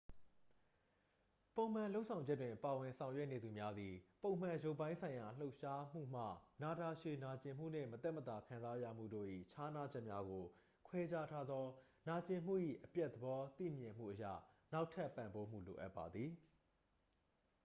ပုံမှန်လုပ်ဆောင်ချက်တွင် ပါဝင် ဆောင်ရွက်နေသူများသည် ပုံမှန် ရုပ်ပိုင်းဆိုင်ရာ လှုပ်ရှားမှုမှ နာတာရှည် နာကျင်မှုနှင့် မသက်မသာ ခံစားရမှုတို့၏ ခြားနားချက်များကို ခွဲခြားထားသော နာကျင်မှု၏ အပျက်သဘော သိမြင်မှုအရ နောက်ထပ် ပံ့ပိုးမှု လိုအပ်ပါသည်